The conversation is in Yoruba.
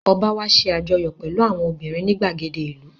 Ọ̀ba wá ṣe àjọyọ̀ pẹ̀lú àwọn obìnrin ní ìgbàgede ìlú